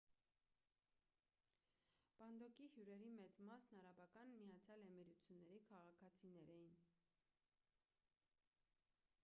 պանդոկի հյուրերի մեծ մասն արաբական միացյալ էմիրությունների քաղաքացիներ էին